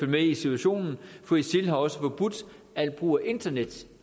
med i situationen for isil har også forbudt al brug af internet